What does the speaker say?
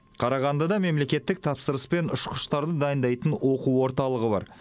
қарағандыда мемлекеттік тапсырыспен ұшқыштарды дайындайтын оқу орталығы бар